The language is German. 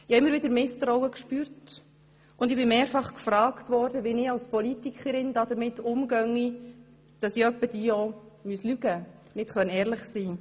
Ich habe immer wieder Misstrauen gespürt, und ich wurde mehrfach gefragt, wie ich als Politikerin damit umgehe, dass ich hin und wieder auch lügen müsse und nicht ehrlich sein könne.